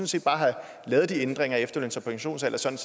set bare have lavet de ændringer af efterløns og pensionsalder sådan